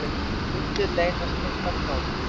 Undir leynast miklar gátur.